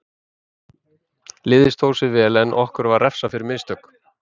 Liðið stóð sig vel en okkur var refsað fyrir mistök.